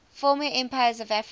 former empires of africa